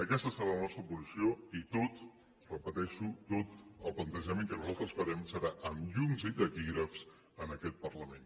aquesta serà la nostra posició i tot ho repeteixo tot el plantejament que nosaltres farem serà amb llums i taquígrafs en aquest parlament